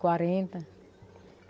Quarenta.